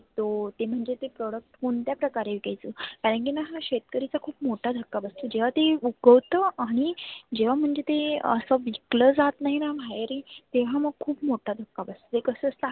तो ते म्हणजे product कोणत्या प्रकारे विकायच? कारण की हा शेतकरीचा खुप मोठा धक्का बस जेव्हा ती आणि जेव्हा म्हणजे ते असं विकल जात नाहीना बाहेर ही तेव्हा मग खुप मोठा दक्का बस ते कसं असतं आप